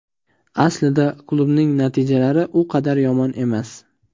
Aslida klubning natijalari u qadar yomon emas.